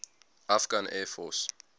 afghan air force